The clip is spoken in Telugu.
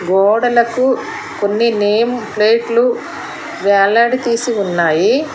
గోడలకు కొన్ని నేమ్ ప్లేట్లు వెళ్లడదీసి ఉన్నాయి.